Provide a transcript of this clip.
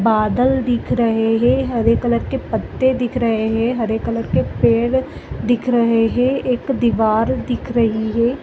बादल दिख रहे है हरे कलर के पत्ते दिख रहे है हरे कलर के पेड़ दिख रहे है एक दिवार दिख रही है।